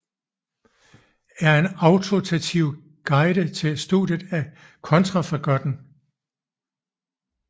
Er en autoritativ guide til studiet af Kontrafagotten